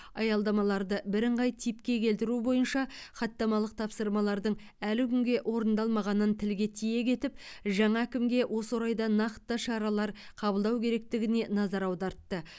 аялдамаларды бірыңғай типке келтіру бойынша хаттамалық тапсырмалардың әлі күнге орындалмағанын тілге тиек етіп жаңа әкімге осы орайда нақты шаралар қабылдау керектігіне назар аудартты